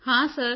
ਹਾਂ ਸਰ